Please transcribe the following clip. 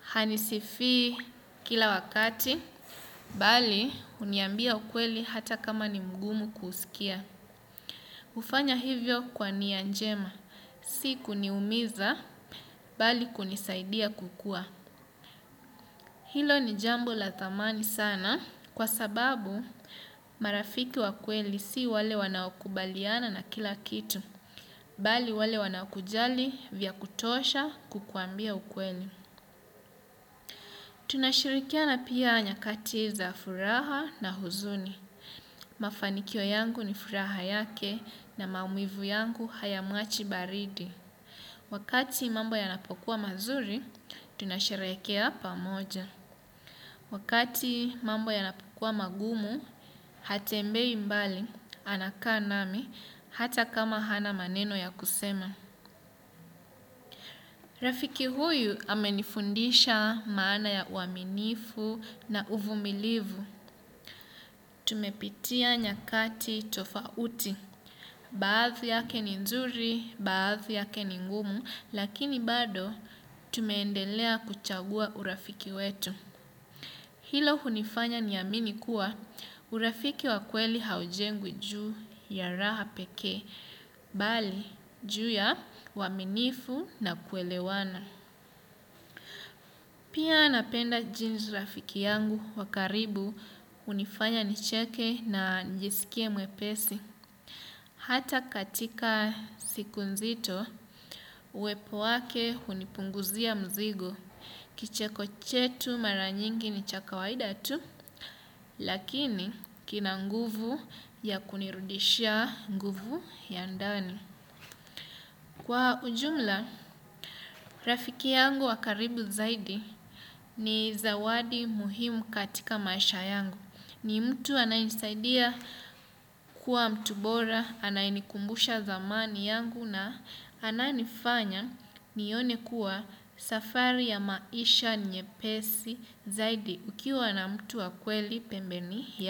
Hanisifii kila wakati, bali uniambia ukweli hata kama ni mgumu kusikia. hUfanya hivyo kwa nia njema. Si kuniumiza, bali kunisaidia kukua. Hilo ni jambo la dhamani sana kwa sababu marafiki wa kweli si wale wanakubaliana na kila kitu. Bali wale wanakujali vya kutosha kukuambia ukweli. Tunashirikiana pia nyakati za furaha na huzuni. Mafanikio yangu ni furaha yake na maumivu yangu hayamuachi baridi. Wakati mambo yanapokuwa mazuri, tunasherehekea pamoja. Wakati mambo yanapokuwa magumu, hatembei mbali anakaa nami hata kama hana maneno ya kusema. Rafiki huyu amenifundisha maana ya uaminifu na uvumilivu. Tumepitia nyakati tofauti. Baadhi yake ni nzuri, baadhi yake ni ngumu, lakini bado tumeendelea kuchagua urafiki wetu. Hilo hunifanya niamini kuwa urafiki wa kweli haujengwi juu ya raha pekee mbali juu ya uaminifu na kuelewana. Pia napenda jinsi rafiki yangu wa karibu hunifanya nicheke na nijiskie mwepesi. Hata katika siku nzito, uepo wake unipunguzia mzigo. Kicheko chetu maranyingi ni cha kawaida tu, lakini kina nguvu ya kunirudishia nguvu ya ndani. Kwa ujumla, rafiki yangu wakaribu zaidi ni zawadi muhimu katika maisha yangu. Ni mtu anaye nisaidia kuwa mtu bora, anaye nikumbusha dhamani yangu na anaye nifanya nione kuwa safari ya maisha ni nyepesi zaidi ukiwa na mtu wa kweli pembeni ya.